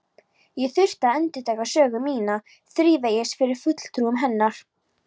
Ég þurfti að endurtaka sögu mína þrívegis fyrir fulltrúum hennar.